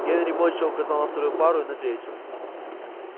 генри молча указал на вторую пару и на третью